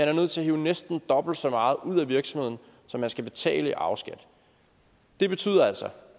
er nødt til at hive næsten dobbelt så meget ud af virksomheden som han skal betale i arveskat det betyder altså